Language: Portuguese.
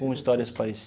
Com histórias